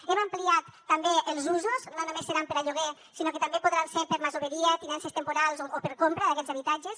n’hem ampliat també els usos no només seran per a lloguer sinó que també podran ser per a masoveria tinences temporals o per a compra d’aquests habitatges